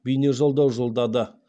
бейнежолдау жолдады